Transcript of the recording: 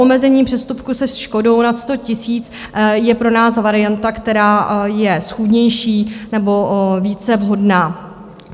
Omezení přestupku se škodou nad 100 000 je pro nás varianta, která je schůdnější nebo více vhodná.